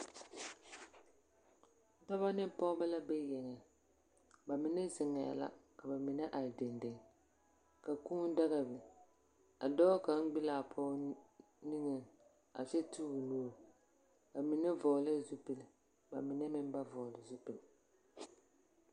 Dͻbͻ ne pͻgebͻ la be yeŋeŋ. Ba mine zeŋԑԑ la, ka ba mine are dendeŋ. Ka kũũ daga a biŋ, ka dͻͻ kaŋa gbi laa pͻge niŋeŋ a kyԑ te o nuuri. Ba mine vͻgelԑԑ zupile ba mine meŋ ba vͻgele zupile.